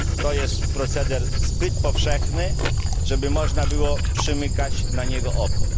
Jest to proceder zbyt powszechny, żeby można było przymykać na niego oko.